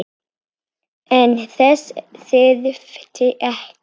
En þess þyrfti ekki.